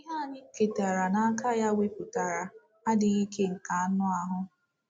Ihe anyị ketara n’aka ya wepụtara “ adịghị ike nke anụ ahụ. ”